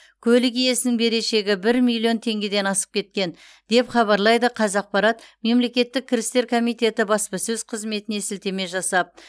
көлік иесінің берешегі бір миллион теңгеден асып кеткен деп хабарлайды қазақпарат мемлекеттік кірістер комитеті баспасөз қызметіне сілтеме жасап